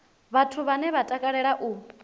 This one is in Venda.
vhathu vhane vha takalea u